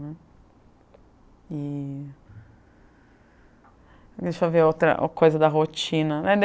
né, e deixa eu ver outra coisa da rotina